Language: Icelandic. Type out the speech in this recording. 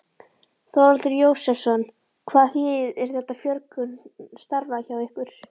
Þórhallur Jósefsson: Og þýðir þetta fjölgun starfa hjá ykkur?